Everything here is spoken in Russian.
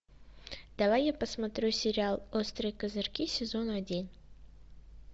давай я посмотрю сериал острые козырьки сезон один